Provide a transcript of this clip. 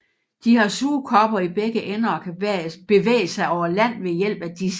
De har sugekopper i begge ender og kan bevæge sig over land ved hjælp af disse